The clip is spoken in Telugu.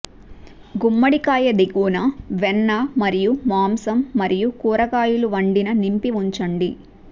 గుమ్మడికాయ దిగువన వెన్న మరియు మాంసం మరియు కూరగాయలు వండిన నింపి ఉంచండి